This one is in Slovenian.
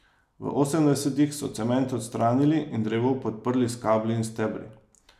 V osemdesetih so cement odstranili in drevo podprli s kabli in stebri.